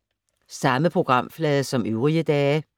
Samme programflade som øvrige dage